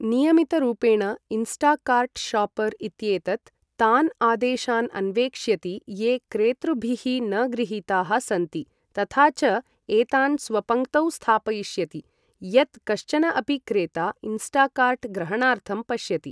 नियमितरूपेण, Instacart shopper इत्येतत् तान् आदेशान् अन्वेक्ष्यति ये क्रेतृभिः न गृहीताः सन्ति तथा च एतान् स्वपङ्क्तौ स्थापयिष्यति यत् कश्चन अपि क्रेता इन्स्टाकार्ट् ग्रहणार्थं पश्यति।